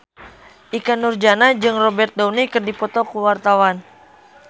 Ikke Nurjanah jeung Robert Downey keur dipoto ku wartawan